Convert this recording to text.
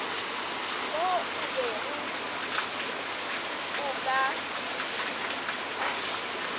mo o bego o ka